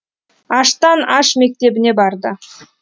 аштан аш мектебіне барды